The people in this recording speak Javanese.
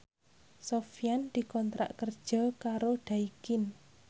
Sofyan dikontrak kerja karo Daikin